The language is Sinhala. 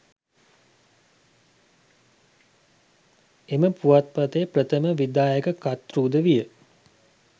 එම පුවත්පතේ ප්‍රථම විධායක කර්තෘද විය.